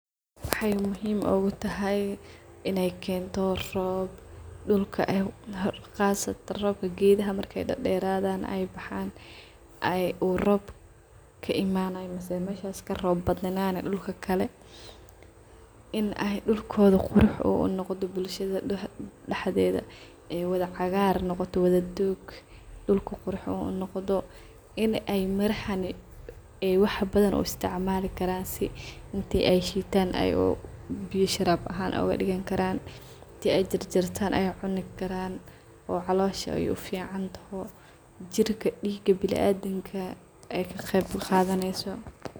Waxay muhim ugu tahay in ay kento rob dhulka qasatan robka gedaha marka ay deradan ay baxan uu rob ka imanaya mise meshas karob badnani melahakale dulka uu qurux noqdho, miraha markas ay sifican ubaxayan. Bulshada daxdeda ay wada cagar noqoto qurux noqoto sas darted, wa muhimad weyn robku marku sifican uu dao oo gedaha cagartan sas darted faido weyn ay ledahay arinkas markas oo caloshaa uu ficantaho , jirka diiga biniadamka ay ka qeb qadaneyso.